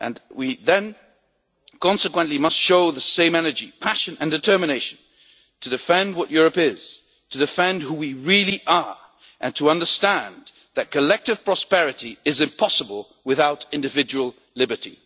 on. We then must consequently show the same energy, passion and determination to defend what Europe is, to defend who we really are and to understand that collective prosperity is impossible without individual liberty.